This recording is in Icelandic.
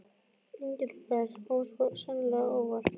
Engilbert kom svo sannarlega á óvart.